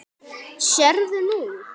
Sérðu nú?